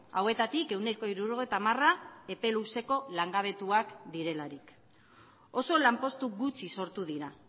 hauetatik ehuneko hirurogeita hamara epe luzeko langabetuak direlarik oso lanpostu gutxi sortu dira